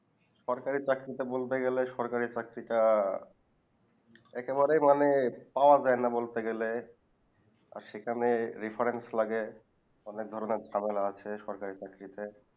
সরকারি চাকরিতে বলতে গেলে সরকারি চাকরিটা একেবারেই মানে পাওয়া যাই না বলতে গেলে আর সেখানে reference লাগে অনেক ধরণে ঝামেলা আছে সরকারি চাকরিতে